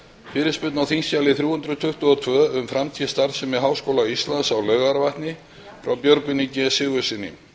fyrirspurn á þingskjali þrjú hundruð tuttugu og tvö um framtíð starfsemi háskóla íslands á laugarvatni frá björgvini g sigurðssyni